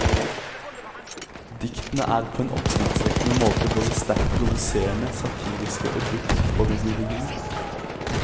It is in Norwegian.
Diktene er på en oppsiktsvekkende måte både sterkt provoserende, satiriske og dypt foruroligende.